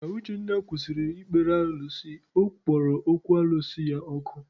Ka Uchenna kwụsịrị ịkpere alụsị, ọ kpọrọ okwu alụsị ya ọkụ.